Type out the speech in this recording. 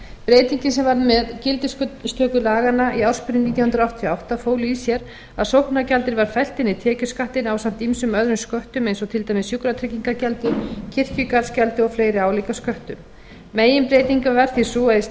breytingin sem varð með gildistöku laganna í ársbyrjun nítján hundruð áttatíu og átta fól í sér að sóknargjaldið var fellt inn í tekjuskattinn ásamt ýmsum öðrum sköttum eins og til dæmis sjúkratryggingagjaldi kirkjugarðsgjaldi og fleiri álíka sköttum meginbreytingin varð því sú að í